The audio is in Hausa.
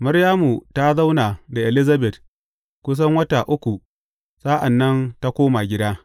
Maryamu ta zauna da Elizabet kusan wata uku sa’an nan ta koma gida.